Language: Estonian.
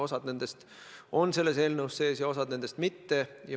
Osa on selles eelnõus sees ja osa mitte.